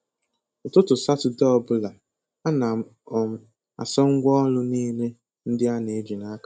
Ụtụtụ Satọde ọbụla, ana m um asa ngwa ọrụ niile ndị a na-eji n'aka